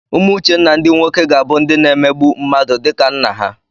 Ụmụ Uchenna ndị nwoke ga-abụ ndị na-emegbu mmadụ dịka nna ha.